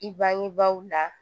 I bangebaaw la